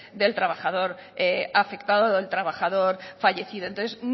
del trabajador afectado o del trabajador fallecido entonces